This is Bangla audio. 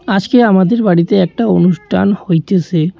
আজকে আমাদের বাড়িতে একটা অনুষ্ঠান হইতেছে।